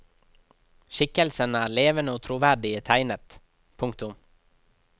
Skikkelsene er levende og troverdig tegnet. punktum